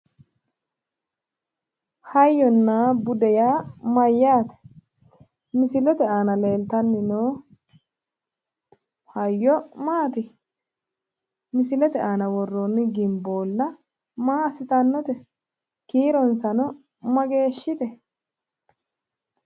Hayyonna bude yaa mayyaate? Misilete aana leeltanni noo hayyo maati? misilete aana worroonni gimboolla maa assitannote? Kiironsano mageeshshite?